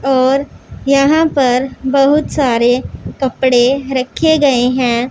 और यहां पर बहुत सारे कपड़े रखे गए हैं।